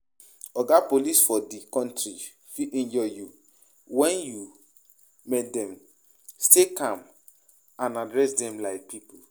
Oga police for di country fit injure you, when you meet them, stay calm and address dem like pipo